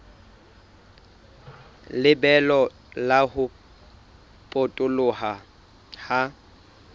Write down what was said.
lebelo la ho potoloha ha